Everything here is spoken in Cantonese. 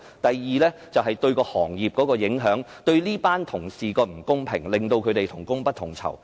第二，這樣對行業有影響、對這群同事不公平對待，令他們同工不同酬。